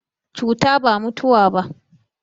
Cuta ba mutawa ba.